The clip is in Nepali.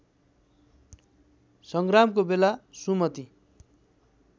सङ्ग्रामको बेला सुमति